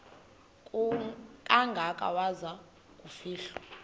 kangaka waza kufihlwa